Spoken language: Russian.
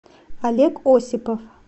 олег осипов